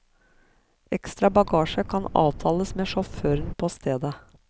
Ekstra bagasje kan avtales med sjåføren på stedet.